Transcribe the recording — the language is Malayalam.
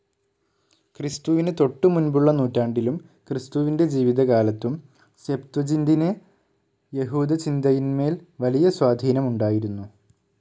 ക്രിസ്തുവിന് തൊട്ടുമുൻപുള്ള നൂറ്റാണ്ടിലും ക്രിസ്തുവിന്റെ ജീവിതകാലത്തും, സെപ്ത്വജിന്റിന്, യഹൂദചിന്തയിന്മേൽ വലിയ സ്വാധീനം ഉണ്ടായിരുന്നു.